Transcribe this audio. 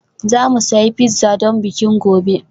Za mu sayi pizza don bikin gobe